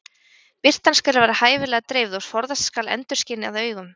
Birtan skal vera hæfilega dreifð og forðast skal endurskin að augum.